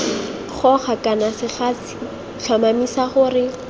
goga kana segasi tlhomamisa gore